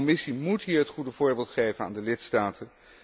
De Commissie moet hier het goede voorbeeld geven aan de lidstaten.